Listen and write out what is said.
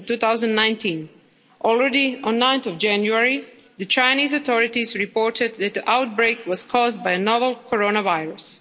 2019. Already on 9 January, the Chinese authorities reported that the outbreak was caused by the novel coronavirus.